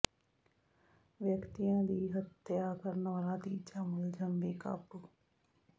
ਵਿਅਕਤੀ ਦੀ ਹੱਤਿਆ ਕਰਨ ਵਾਲਾ ਤੀਜਾ ਮੁਲਜ਼ਮ ਵੀ ਕਾਬੂ